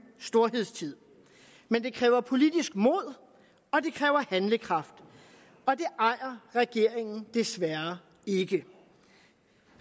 storhedstid men det kræver politisk mod og det kræver handlekraft og det ejer regeringen desværre ikke